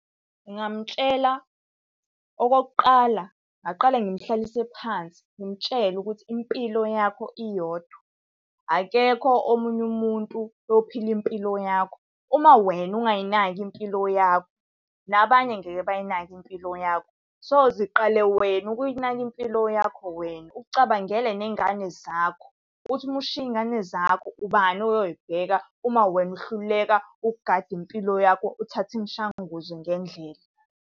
Ngingamtshela, okokuqala ngaqale ngimuhlalise phansi ngimtshele ukuthi impilo yakho iyodwa. Akekho omunye umuntu oyophila impilo yakho. Uma wena ungayinaki impilo yakho, nabanye ngeke bayinake impilo yakho. So ziqale wena ukuyinaka impilo yakho wena, ucabangele ney'ngane zakho, ukuthi uma ushiya iy'ngane zakho, ubani oyoy'bheka uma wena uhluleka ukugada impilo yakho uthathe imishanguzo ngendlela.